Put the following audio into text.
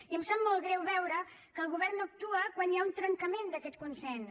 i em sap molt greu veure que el govern no actua quan hi ha un trencament d’aquest consens